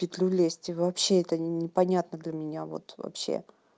в петлю лезть и вообще это непонятно для меня вот вообще